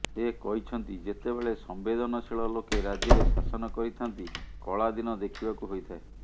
ସେ କହିଛନ୍ତି ଯେତେବେଳେ ସମ୍ବେଦନଶୀଳ ଲୋକେ ରାଜ୍ୟରେ ଶାସନ କରିଥାନ୍ତି କଳା ଦିନ ଦେଖିବାକୁ ହୋଇଥାଏ